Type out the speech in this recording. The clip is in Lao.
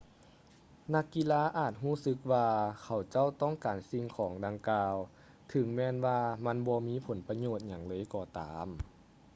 ນັກກິລາອາດຈະຮູ້ສຶກວ່າເຂົາເຈົ້າຕ້ອງການສິ່ງຂອງດັ່ງກ່າວເຖິງແມ່ນວ່າມັນບໍ່ມີຜົນປະໂຫຍດຫຍັງເລີຍກໍຕາມ